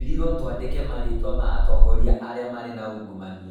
Tweerirũo tũandike marĩĩtwa ma atongoria arĩa maarĩ na ungumania.